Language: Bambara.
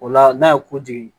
O la n'a ye kojigin